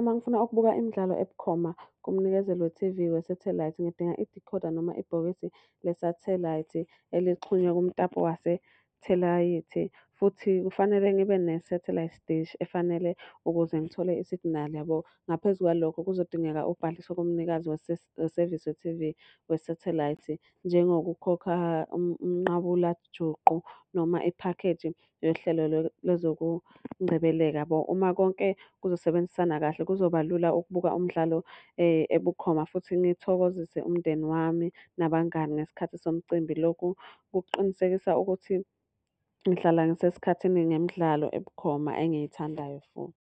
uma ngifuna ukubuka imidlalo ebukhoma kumnikezeli we-T_V yesathelayithi, ngidinga idekhoda noma ibhokisi lesathelayithi elixhunywe kumtapo wasethalayithi. Futhi kufanele ngibe ne-satelite dish efanele, ukuze ngithole isiginali yabo. Ngaphezu kwalokho kuzodingeka ubhalise kumnikazi wesevisi we-T_V, wesathelayithi, njengokukhokha umnqabulajuqu noma iphakheji yohlelo le zokungcebeleka yabo. Uma konke kuzosebenzisana kahle, kuzoba lula ukubuka umdlalo ebukhoma futhi ngithokozise umndeni wami nabangani ngesikhathi somcimbi. Lokhu kuqinisekisa ukuthi ngihlala ngisesikhathini nemidlalo ebukhoma engiyithandayo futhi.